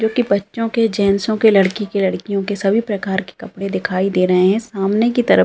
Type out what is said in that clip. जो कि बच्चो के जेन्टसो के लड़की के लड़कियों के सभी प्रकार के कपडे दिखाई दे रहें हैं सामने की तरफ --